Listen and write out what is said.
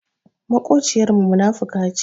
Maƙociyar mu munafuka ce